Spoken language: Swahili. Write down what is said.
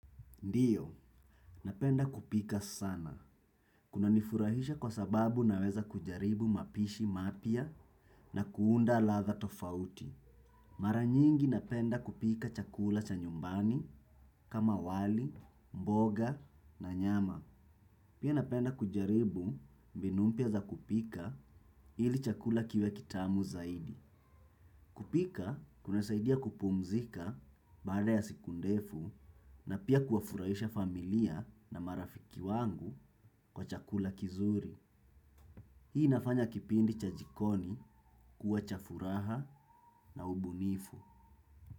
Ndiyo, napenda kupika sana. Kunanifurahisha kwa sababu naweza kujaribu mapishi mapya na kuunda ladha tofauti. Mara nyingi napenda kupika chakula cha nyumbani kama wali, mboga na nyama. Pia napenda kujaribu mbinu mpya za kupika ili chakula kiwe kitamu zaidi. Kupika, kuna saidia kupumzika baada ya siku ndefu na pia kuwafurahisha familia na marafiki wangu kwa chakula kizuri. Hii nafanya kipindi cha jikoni kuwa cha furaha na ubunifu.